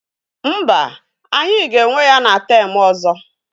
Mba, anyị ga-enwe ya na temụ ọzọ.